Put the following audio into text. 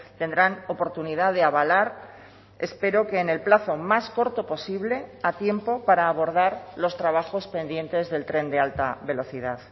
tendrán oportunidad de avalar espero que en el plazo más corto posible a tiempo para abordar los trabajos pendientes del tren de alta velocidad